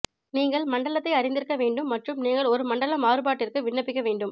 நீங்கள் மண்டலத்தை அறிந்திருக்க வேண்டும் மற்றும் நீங்கள் ஒரு மண்டல மாறுபாட்டிற்கு விண்ணப்பிக்க வேண்டும்